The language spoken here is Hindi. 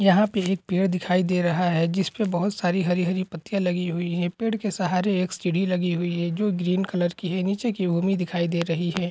यहां पे एक पेड़ दिखाई दे रहा हे जिसपे बहुत सारी हरी हरी पत्तिया लगी हुई हे पेड़ के सहारे एक सीढ़ी लगी हुई है जो ग्रीन कलर की है। नीचे एक दिखाई दे रही है।